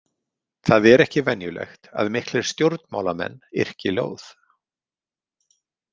Það er ekki venjulegt að miklir stjórnmálamenn yrki ljóð.